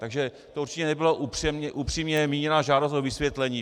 Takže to určitě nebyla upřímně míněná žádost o vysvětlení.